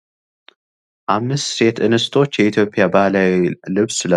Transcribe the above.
አምስት ሴት እንስቶች የኢትዮጵያ ባህላዊ ልብስ ለብሰው የሚያሳይ ምስል ነው ።